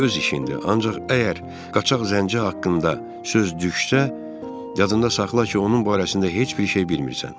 Bu öz işindi, ancaq əgər qaçax zənci haqqında söz düşsə, yadında saxla ki, onun barəsində heç bir şey bilmirsən.